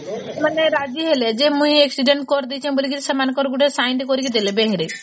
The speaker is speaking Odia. ସେମାନେ ରାଜି ହେଲେ ଯେ ମୁଇ accident ଟେ କରିଦେଇଛି ବୋଲି ସେମାଙ୍କର ଗୋଟେ signed କରିକି ଦେଲେ ବେହେରେ